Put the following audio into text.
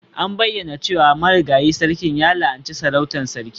An bayyana cewa marigayi sarkin ya la'anci sarautar Sarki.